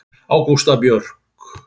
Ágústa Björg.